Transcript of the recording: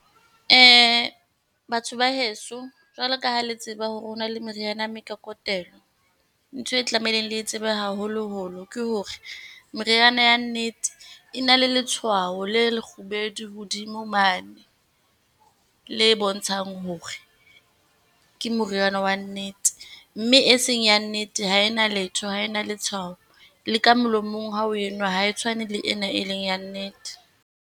Batho ba heso, jwalo ka ha le tseba hore ho na le meriana ya mekokotelo, ntho e tlamehileng le e tsebe haholoholo ke hore, meriana ya nnete e na le letshwao le lekgubedu hodimo mane le bontshang hore ke moriana wa nnete, mme e seng ya nnete ha e na letho, ha e na letshwao. Le ka molomong ha o e nwa, ha e tshwane le ena e leng ya nnete.